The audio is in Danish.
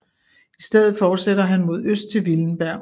I stedet fortsætter han mod øst til Willenberg